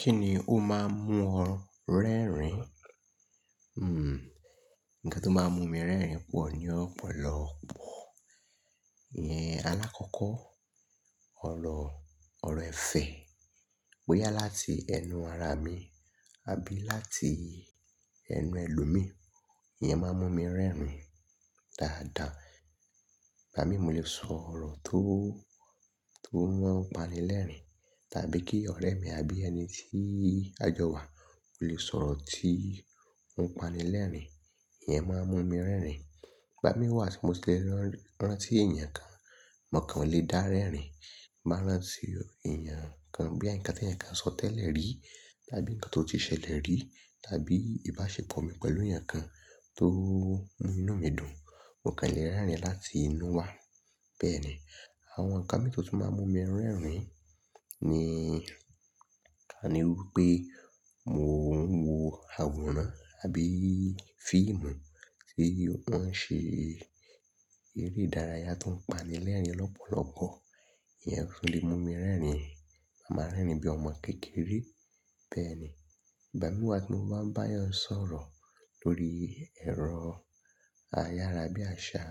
Kí ni ó máa ń mú ọ rẹ́rìn? Hmm, nǹkan tó máa ń mú mi rẹ́rìn pọ̀ ní ọ̀pọ̀lọpọ̀. Alákọ̀ọ́kọ́, ọ̀rọ̀, ọ̀rọ̀ ẹ̀fẹ̀ bóyá láti ẹnu ara mi àbí láti ẹnu ẹlòmíí, ìyẹn máa mú mi rẹ́rìn dáadáa. Ìgbà mi, mo lè sọ ọ̀rọ̀ tó, tó máa ń pani lẹ́rìn, tàbí kí ọ̀rẹ́ mi àbí ẹni tí a jọ wà ó lè sọ ọ̀rọ̀ tí ń pani lẹ́rìn, ìyẹn máa mú mi rẹ́rìn. Ìgbà mi wà tí mo sì lè rán, rántí ènìyàn kan, mò kan lè dá rẹ́rìn. Bá rántí ènìyàn kan bóyá nǹkan tí ẹ̀yàn kan sọ tẹ́lẹ̀ rí, tàbí nǹkan tó ti ṣẹlẹ̀ rí, tàbí ìbáṣepọ̀ mi pẹ̀lú ènìyàn kan tó mú inú mi dùn, mò kan lè rẹ́rìn láti inú wa. Bẹ́ẹ̀ ni, àwọn nǹkan mìíràn tó máa ń mú mi rẹ́rìn ni ká ní wípé mò ń wo àwòrán àbí fíìmù tí wọ́n ṣe eré ìdárayá tó ń pani lẹ́rìn lọ́pọ̀lọpọ̀, ìyẹn ó lè mú mi rẹ́rìn. Màá rẹ́rìn bíi ọmọ kékeré. Bẹ́ẹ̀ni, ìgbà mi wà tí mo bá bayan sọ̀rọ̀ lórí ẹ̀rọ ayarabi àṣá.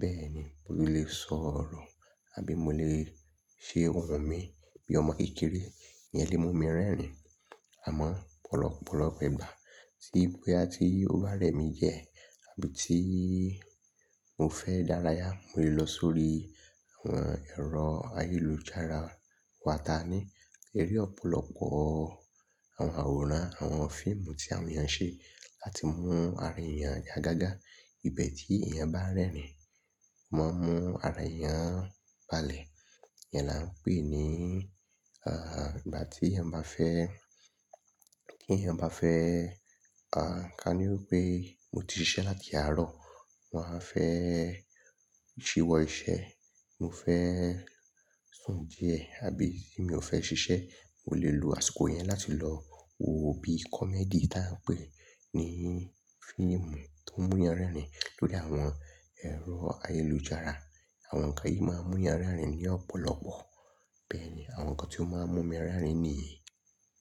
Bẹ́ẹ̀ ni, mo lè sọ ọ̀rọ̀ àbí mo lè ṣe ohun mi bí ọmọ kékeré, ìyẹn lè mú mi rẹ́rìn. Àmọ́ ọ̀pọ̀lọpọ̀ lọ́pọ̀ ìgbà ti tí bóyá tí ó bá rẹ̀ mí jẹ, àbí tí mo fẹ́ dárayá, mo lè lọ sórí àwọn ẹ̀rọ ayélujára. Wàtà ni, kí eré ọ̀pọ̀lọpọ̀ àwọn àwòrán, àwọn fíìmù tí àwọn ènìyàn ṣe láti mú ara ènìyàn yá gágá. Ìbẹ̀ tí èèyàn bá rẹ́rìn, wọ́n mú ara èèyàn balẹ̀. Ìyẹn là ń pè ní, ah, ìgbà tí èèyàn bá fẹ́, tí èèyàn bá fẹ́, ah, ká ní wípé mo ti ṣiṣẹ́ láti àárọ̀, mo wa á fẹ́ ṣíwọ́ iṣẹ́, mo fẹ́ sùn díẹ̀, àbí tí mi ò fẹ́ ṣiṣẹ́, mo lè lo àsìkò yẹn láti lọ wo bí kọ̀mẹ́dì tí a ń pè ní fíìmù tó múyàn rẹ́rìn lórí àwọn ẹ̀rọ ayélujára. Àwọn nǹkan yìí máa ń múyàn rẹ́rìn ní ọ̀pọ̀lọpọ̀. Bẹ́ẹ̀ ni, àwọn nǹkan tí ó máa ń mú mi rẹ́rìn nìyẹn.